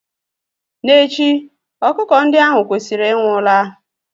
N'echi, ọkụkọ ndi ahu kwesịrị ịnwụ la